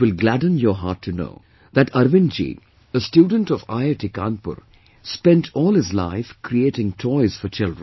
It will gladden your heart to know, that Arvind ji, a student of IIT Kanpur, spent all his life creating toys for children